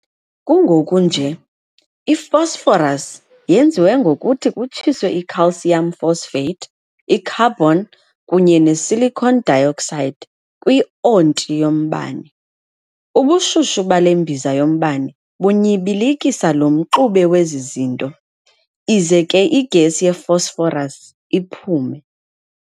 Kungoku nje i-Phosphorus yenziwe ngokuthi kutshiswe i-calcium phosphate, i-carbon, kunye ne-silicon dioxide kwi-onti yombane. Ubushushu bale mbiza yombane bunyibilikisa lo mxube wezi zinto, ize ke i-gas ye-phosphorus iphume.